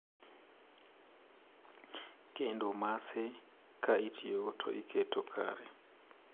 kendo mace, ka itiyogo to iketo kare.